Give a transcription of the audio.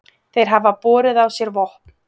Þeir hafi borið á sér vopn